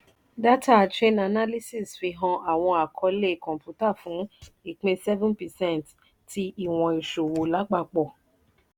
dátà chainalysis fihàn àwọn àkọọlé kọ̀npútà fún ìpín seven percent tí ìwọ̀n ìṣòwò lápapọ̀.